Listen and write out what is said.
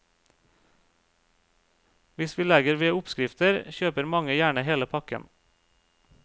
Hvis vi legger ved oppskrifter, kjøper mange gjerne hele pakken.